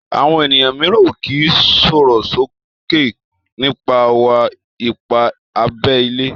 Àwọn ènìyàn míràn o ki sòròsoke nipa wa-ipa abé ilé